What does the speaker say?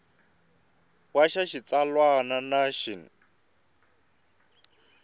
we xa xitsalwana na xin